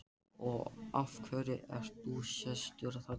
Og af hverju ert þú sestur þarna?